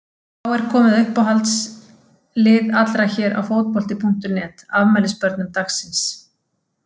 Þá er komið að uppáhalds lið allra hér á Fótbolti.net, afmælisbörnum dagsins.